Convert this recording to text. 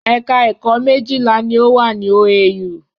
Ẹ̀ka ẹ̀kọ́ méjìlá ni ó wà ní OAU